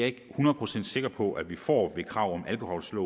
ikke hundrede procent sikker på at vi får med krav om alkolåse